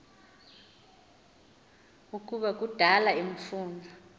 ukuba kudala emfuna